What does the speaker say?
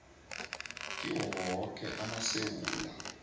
kiwo woke amasewula